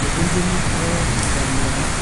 ,lukunguni o nkamiani